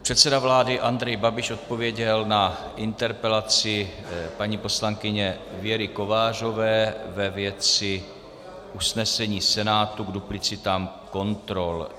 Předseda vlády Andrej Babiš odpověděl na interpelaci paní poslankyně Věry Kovářové ve věci usnesení Senátu k duplicitám kontrol.